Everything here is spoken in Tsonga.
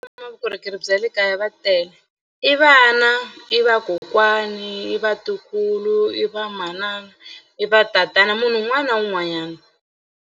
vukorhokeri bya le kaya va tele i vana i va kokwana i vatukulu i va manana i va tatana munhu un'wana na un'wanyana.